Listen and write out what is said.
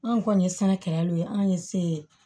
Anw kɔni ye sɛnɛkɛlaw ye an ye se